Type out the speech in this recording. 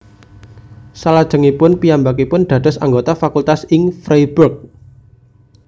Salajengipun piyambakipun dados anggota fakultas ing Freiburg